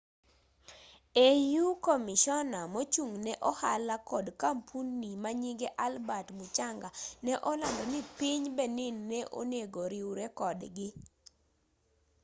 au komishona mochung'ne ohala kod kampuni manyinge albert muchanga ne olandoni piny benin ne onengo riure kodgi